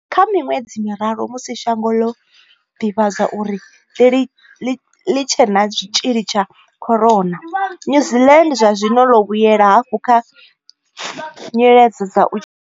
Kha miṅwedzi miraru musi shango ḽo ḓivhadzwa uri a ḽi tshe na tshitzhili tsha corona, New Zealand zwa zwino ḽo vhuyela hafhu kha nyiledzo dza u tshimbila.